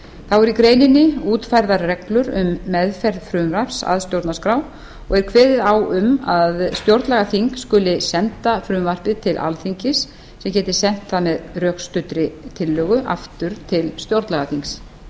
þá verði í greininni útfærðar reglur um meðferð frumvarps að stjórnarskrá og er kveðið á um að stjórnlagaþing skuli senda frumvarpið til alþingis sem geti sent það með rökstuddri tillögu aftur til stjórnlagaþings